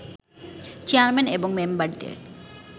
chairman এবং মেম্বারদের